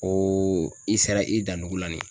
O i sera i dan dugu la nin ye.